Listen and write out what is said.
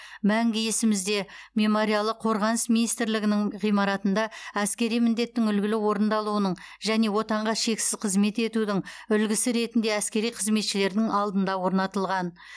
мәңгі есімізде мемориалы қорғаныс министрлігінің ғимаратында әскери міндеттің үлгілі орындалуының және отанға шексіз қызмет етудің үлгісі ретінде әскери қызметшілердің алдында орнатылған